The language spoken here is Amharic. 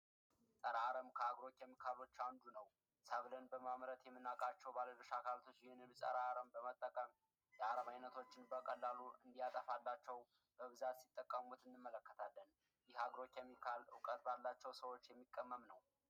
ፀረ አረም ከአግሮ ኬሚካሎች አንዱ ነው። ሰብልን በማምረት የምናውቃቸው ባለድርሻ አካላት ይህንንም ፀረ አረም በመጠቀም የአረም አይነቶችን በቀላሉ እንዲያጠፋላቸው በብዛት ሲጠቀሙት እናያለን። የአግሮ ኬሚካል ባላቸው ሰዎች የሚቀመም ነው።